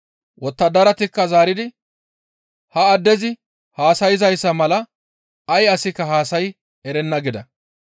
Wottadaratikka zaaridi, «Ha addezi haasayzayssa mala ay asikka haasayi erenna» gida.